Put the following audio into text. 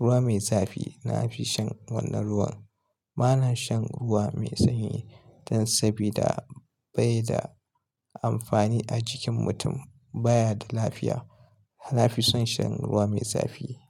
ruwa mai zafi. Na fi shan wannan ruwan. Ba na shan ruwa mai sanyi don sabida bai da amfani a jikin mutum, baya da lafiya. Na fi son shan ruwa mai zafi.